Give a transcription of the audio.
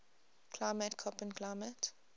climate koppen climate